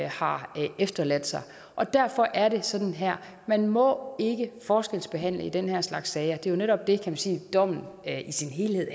har efterladt sig og derfor er det sådan her man må ikke forskelsbehandle i den her slags sager det er jo netop det kan man sige dommen i sin helhed